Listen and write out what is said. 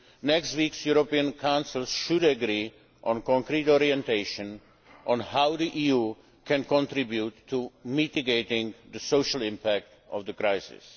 Next week's European Council should agree on concrete orientations on how the EU can contribute to mitigating the social impact of the crisis.